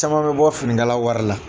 Caman bɛ bɔ finikala wari la.